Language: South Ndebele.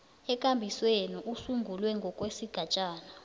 ekambisweni esungulwe ngokwesigatjana